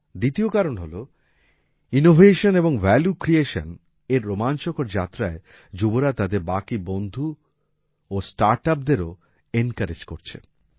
দ্বিতীয় কারণ হল ইনোভেশন এবং ভ্যালু ক্রিয়েশন এর এই রোমাঞ্চকর যাত্রায় যুবরা তাদের বাকি বন্ধু ও স্টার্ট upsদেরও এনকোরেজ করছে